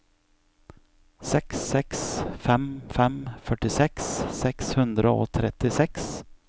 seks seks fem fem førtiseks seks hundre og trettiseks